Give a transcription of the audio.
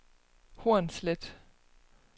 Hornslet